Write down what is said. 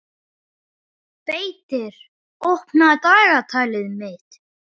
Beitir, opnaðu dagatalið mitt.